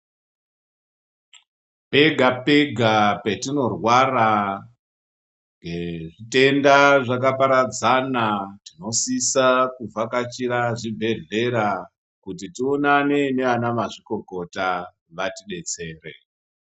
Pega pega patinorwara ngezvitenda zvakaparadzana tinosisa kuvhakachira zvibhehlera kuti tionane nana mazvikokota vatidetsere.